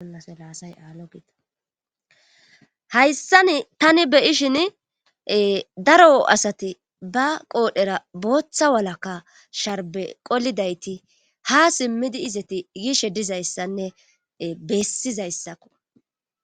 aslaasayaaloiahayssan tani beyishin daro asati ba qoodhera booththa walakka sharbe qolidayti ha simmidi izati yishe dizayssanne bessizayssakko